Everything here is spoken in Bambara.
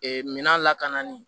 Ee minan lakananin